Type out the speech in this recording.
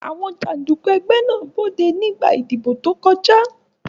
Àwọn jàǹdùkú ẹgbẹ́ náà na Bọ̀dé nígbà ìdìbò tó kọjá.